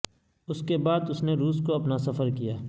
اس کے بعد اس نے روس کو اپنا سفر کیا